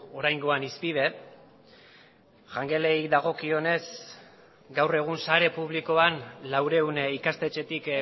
oraingoan hizpide jangelei dagokionez gaur egun sare publikoan laurehun ikastetxetik